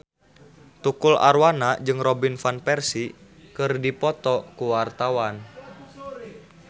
Tukul Arwana jeung Robin Van Persie keur dipoto ku wartawan